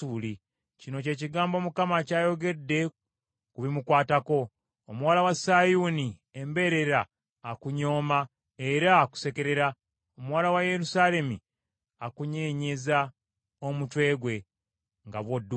Kino kye kigambo Mukama ky’ayogedde ku bimukwatako: “ ‘Omuwala wa Sayuuni embeerera akunyooma era akusekerera. Omuwala wa Yerusaalemi akunyeenyeza omutwe gwe nga bw’odduka.